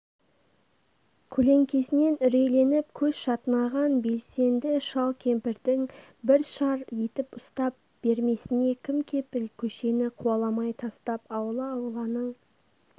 көлеңкеснен үрейленп көз шатынаған белсенд шал-кемпрдң бр шар етіп ұстап бермесіне кім кепіл көшені қуаламай тастап аула-ауланың